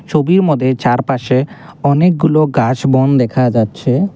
ছবির মধ্যে চারপাশে অনেকগুলো গাছ বন দেখা যাচ্ছে।